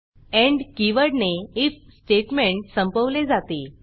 end की वर्डने ifइफ स्टेटमेंट संपवले जाते